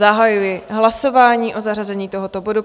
Zahajuji hlasování o zařazení tohoto bodu.